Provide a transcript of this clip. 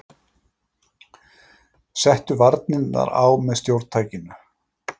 Settu varnirnar á með stjórntækinu!